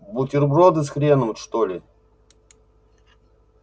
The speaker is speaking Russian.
бутерброды с хреном что ли